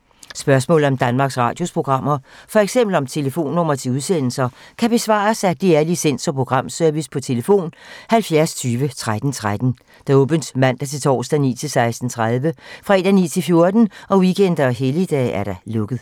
Spørgsmål om Danmarks Radios programmer, f.eks. om telefonnumre til udsendelser, kan besvares af DR Licens- og Programservice: tlf. 70 20 13 13, åbent mandag-torsdag 9.00-16.30, fredag 9.00-14.00, weekender og helligdage: lukket.